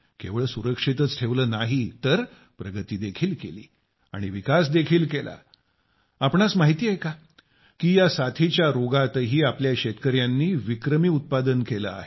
केवळ सुरक्षितच ठेवले नाही तर प्रगती देखील केली आणि विकास देखील केला आपणास माहिती आहे का की या साथीच्या रोगातही आपल्या शेतकर्यांनी विक्रमी उत्पादन केले आहे